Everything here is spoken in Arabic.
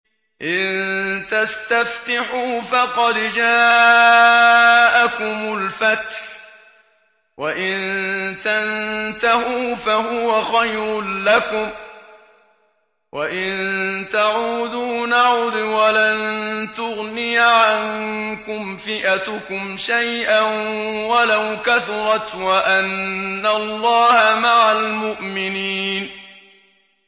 إِن تَسْتَفْتِحُوا فَقَدْ جَاءَكُمُ الْفَتْحُ ۖ وَإِن تَنتَهُوا فَهُوَ خَيْرٌ لَّكُمْ ۖ وَإِن تَعُودُوا نَعُدْ وَلَن تُغْنِيَ عَنكُمْ فِئَتُكُمْ شَيْئًا وَلَوْ كَثُرَتْ وَأَنَّ اللَّهَ مَعَ الْمُؤْمِنِينَ